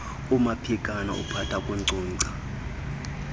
umaphikana uphatha kunkcunkca